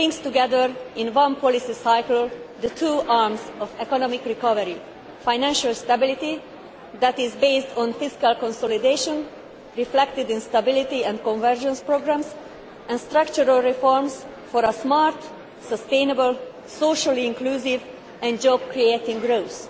It brings together in one policy cycle the two arms of economic recovery financial stability that is based on fiscal consolidation, reflected in stability and convergence programmes, and structural reforms for a smart, sustainable, socially inclusive and job creating growth.